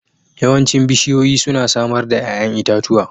Yawancin bishiyoyi suna samar da 'ya'yan itatuwa